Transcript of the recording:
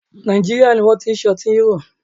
Nàìjíríà ní wọ́n ti ṣe ọtí Hero.